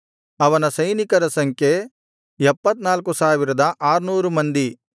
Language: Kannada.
ಅವನ ಸೈನಿಕರ ಸಂಖ್ಯೆ 74600 ಮಂದಿ